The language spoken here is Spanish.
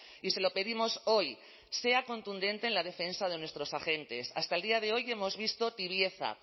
y se lo pedimos hoy sea contundente en la defensa de nuestros agentes hasta el día de hoy hemos visto tibieza